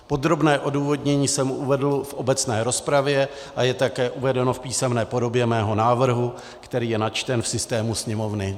Podrobné odůvodnění jsem uvedl v obecné rozpravě a je také uvedeno v písemné podobě mého návrhu, který je načten v systému Sněmovny.